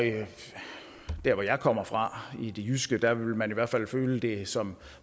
der hvor jeg kommer fra i det jyske vil man i hvert fald føle det som